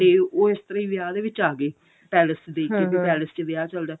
ਤੇ ਉਹ ਇਸ ਤਰ੍ਹਾਂ ਹੀ ਵਿਆਹ ਦੇ ਵਿੱਚ ਆ ਗਏ ਪੈਲੇਸ ਦੇ ਕਿਉਂਕਿ ਪੈਲੇਸ ਚ ਵਿਆਹ ਚੱਲਦਾ